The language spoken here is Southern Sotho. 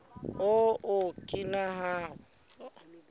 o okina ahu